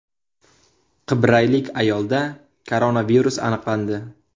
Qibraylik ayolda koronavirus aniqlandi.